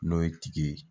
N'o ye tigi ye